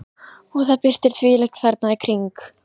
Og það birtir þvílíkt þarna í kring.